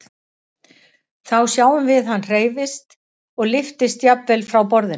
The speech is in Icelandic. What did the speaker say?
Þá sjáum við að hann hreyfist og lyftist jafnvel frá borðinu.